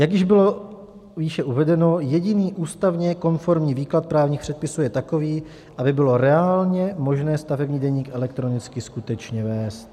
Jak již bylo výše uvedeno, jediný ústavně konformní výklad právních předpisů je takový, aby bylo reálně možné stavební deník elektronicky skutečně vést.